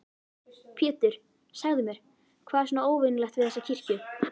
Pétur, segðu mér, hvað er svona óvenjulegt við þessa kirkju?